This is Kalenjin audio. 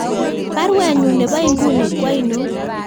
Baruenyun nebo inguni ko ainon